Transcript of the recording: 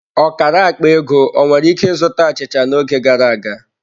Ọkara akpa ego ọ nwere ike zụta achịcha n'oge gara aga?